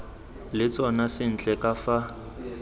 le tsona sentle ka fa